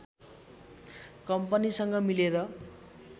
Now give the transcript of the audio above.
कम्पनीसँग मिलेर